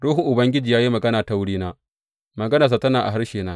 Ruhun Ubangiji ya yi magana ta wurina; maganarsa tana a harshena.